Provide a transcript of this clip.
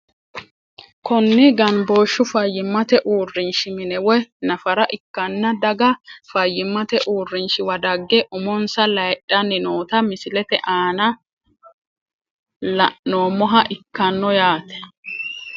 Kuni ganbooshu faiymate uurinshi mine woyi nafara ikanna daga fayimate uurinshiwa dage umonsa layidhani noota misilete aan lanoomoha ikano yaate.